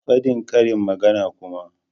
Fadin karin magana kuma!